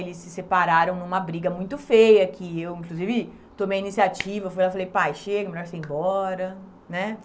Eles se separaram numa briga muito feia, que eu, inclusive, tomei a iniciativa, fui lá e falei, pai, chega, é melhor você ir embora, né?